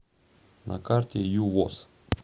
на карте ювос